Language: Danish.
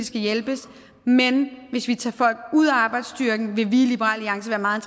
skal hjælpes men hvis vi tager folk ud af arbejdsstyrken vil vi i liberal alliance være meget